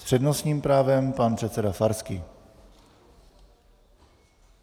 S přednostním právem pan předseda Farský.